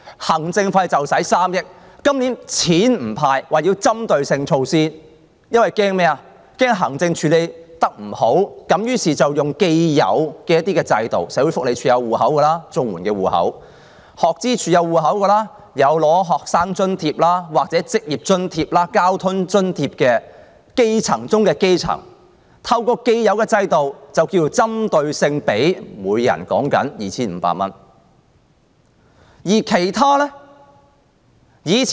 今年不"派錢"，說要採取針對措施，因為害怕行政處理不好，於是用既有的制度，社會福利署有綜合社會保障援助戶口、學生資助處有戶口，過往已有領取學生津貼、職業津貼或交通津貼的基層中的基層，透過既有制度，給他們每人 2,500 元，而其他的又如何？